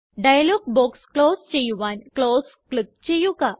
dialogue box close ചെയ്യുവാൻ close click ചെയ്യുക